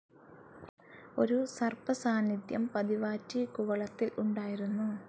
ഒരു സർപ്പ സാന്നിദ്ധ്യം പതിവാറ്റി കുവളത്തിൽ ഉണ്ടായിരുന്നു.